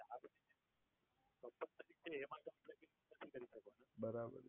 Company છે એમાં તમે નથી કરો શકવાના બરાબર.